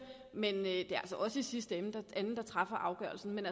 men det er altså os der i sidste ende træffer afgørelsen men